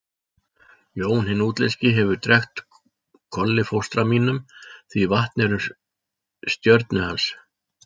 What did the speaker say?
Jón hinn útlenski hefur drekkt Kolli fóstra mínum því vatn er um stjörnu hans.